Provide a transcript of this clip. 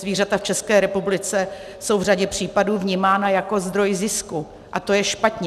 Zvířata v České republice jsou v řadě případů vnímána jako zdroj zisku a to je špatně.